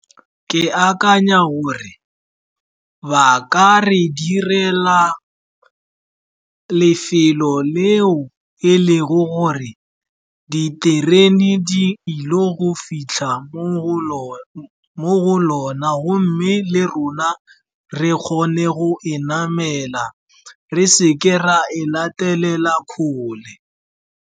Ke akanya gore ba ka re direla lefelo leo e lego gore diterene di ile go fitlha mo go lona, gomme le rona re kgone go e namela, re seke ra e latelela kgole.